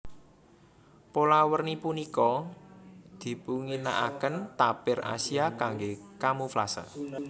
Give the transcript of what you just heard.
Pola werni punika dipunginakaken tapir Asia kanggé kamuflase